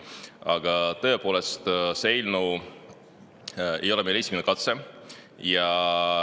Aga tõepoolest, see eelnõu ei ole meil esimene katse.